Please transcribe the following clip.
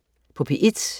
P1: